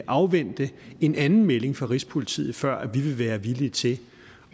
afvente en anden melding fra rigspolitiet før vi vil være villige til